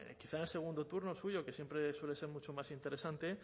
quizá en el segundo turno el suyo que siempre suele ser mucho más interesante